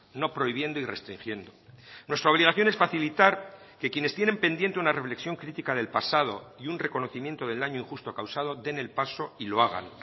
no prohibiendo y restringiendo nuestra obligación es facilitar que quienes tienen pendiente una reflexión crítica del pasado y un reconocimiento del daño injusto causado den el paso y lo hagan